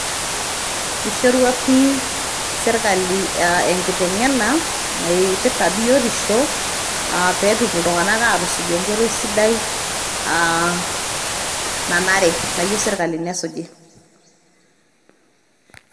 Eishorua pii serikali enkiteng'ena naipirita biotisho peetum ltunganak aatusuj enkoitoi sidai nanare, nayeu serikali nesuji.